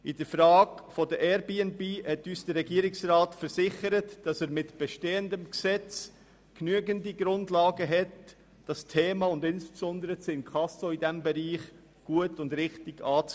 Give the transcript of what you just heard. In der Frage der Airbnb hat uns der Regierungsrat versichert, dass er mit bestehendem Gesetz über genügend Grundlagen verfügt, dieses Thema und insbesondere das Inkasso in diesem Bereich gut und richtig anzugehen.